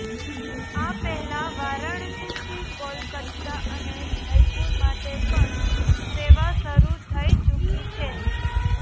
આ પહેલા વારાણસીથી કોલકાતા અને જયપુર માટે પણ સેવા શરૂ થઇ ચૂકી છે